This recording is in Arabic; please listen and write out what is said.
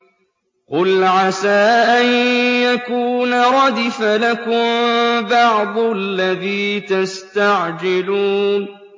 قُلْ عَسَىٰ أَن يَكُونَ رَدِفَ لَكُم بَعْضُ الَّذِي تَسْتَعْجِلُونَ